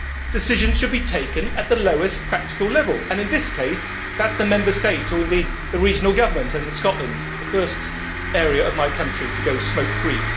Decisions should be taken at the lowest practical level and, in this case, that is the Member State, or indeed the regional government, as in Scotland, the first area of my country to go smoke free.